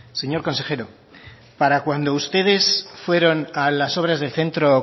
señor consejero para cuando ustedes fueron a las obras del centro